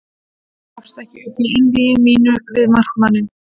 Ég gafst ekki upp í einvígi mínu við markmanninn.